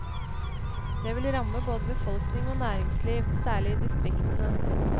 Det vil ramme både befolkning og næringsliv, særlig i distriktene.